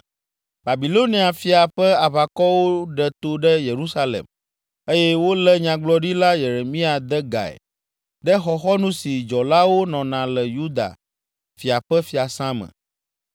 Babilonia fia ƒe aʋakɔwo ɖe to ɖe Yerusalem eye wolé Nyagblɔɖila Yeremia de gae ɖe xɔxɔnu si dzɔlawo nɔna le Yuda fia ƒe fiasã me.